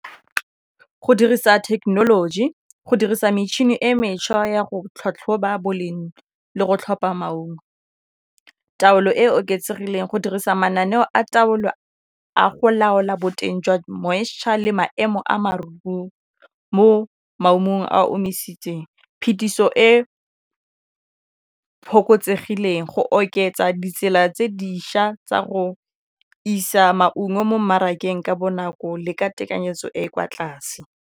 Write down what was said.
Go dirisa technology go dirisa metšhini e e mešwa ya go tlhatlhoba boleng le go tlhopha maungo taolo e e oketsegileng go dirisa mananeo a taolo a go laola boteng jwa moisture le maemo a mo maemong a a omisitsweng phetiso e go oketsa ditsela tse dišwa tsa go isa maungo mo mmarakeng ka bonako le ka tekanyetso e e kwa tlase.